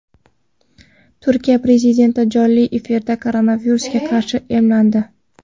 Turkiya prezidenti jonli efirda koronavirusga qarshi emlandi.